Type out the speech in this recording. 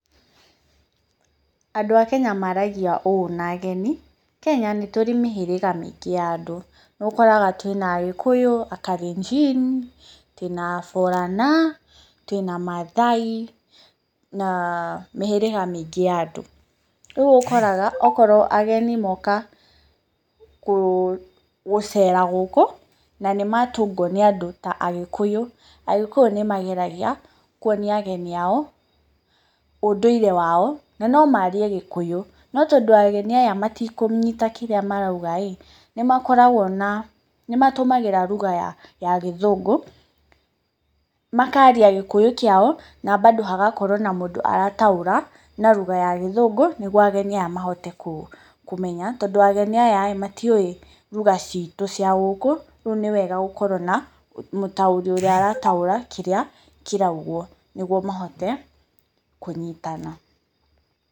Andũ a Kenya maragia ũũ na ageni, Kenya nĩ tũrĩ na mĩhĩgĩrĩga mĩingĩ ya andũ, nĩũkoraga twĩ na Agĩkũyũ, Akalenjin, twĩ na Borana, twĩ na Maathai na mĩhĩrĩga mĩingĩ ya andũ. Rĩu ũkoraga okorwo ageni moka gũcera gũkũ na nĩmatũngwo nĩ andũ ta agĩkũyũ, agĩkuyũ nĩmageragia kũonia ageni ao, ũnduire wao, na no marie gĩkũyũ, no tondũ ageni aya matikũnyita kĩrĩa marauga-ĩ nĩmakoragwo na, nĩmatũmagĩra lugha ya gĩthũngũ, makaria gikũyũ kiao na bado hagakorwo na mũndũ arataũra na lugha ya gĩthũngũ, nĩguo ageni aya mahote kũmenya, tondũ ageni aya-ĩ matiũwĩ lugha ciitu cia gũkũ rĩu nĩwega gũkorwo na mũtauri ũrĩa ũrataũra kĩrĩa kĩraugwo, nĩguo mahote kũnyitana.